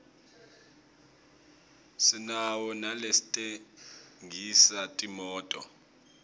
sinawo nalatsengisa timoto